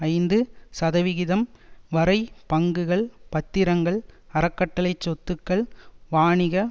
ஐந்து சதவிகிதம் வரை பங்குகள் பத்திரங்கள் அறக்கட்டளைச் சொத்துக்கள் வாணிக